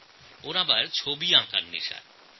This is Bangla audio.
তাঁর ছবি আঁকার শখ আছে